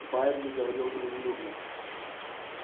байерли говорил дружелюбно